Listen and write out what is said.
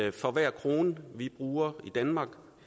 at for hver krone vi bruger i danmark